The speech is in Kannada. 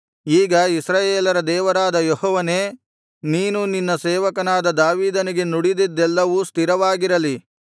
ಈಗ ಇಸ್ರಾಯೇಲರ ದೇವರಾದ ಯೆಹೋವನೇ ನೀನು ನಿನ್ನ ಸೇವಕನಾದ ದಾವೀದನಿಗೆ ನುಡಿದಿದ್ದೆಲ್ಲವೂ ಸ್ಥಿರವಾಗಿರಲಿ